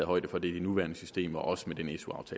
højde for det i det nuværende system og også med den